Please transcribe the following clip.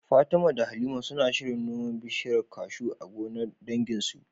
Fatima da Halima suna shirin noman bishiyar kashu a gonar danginsu.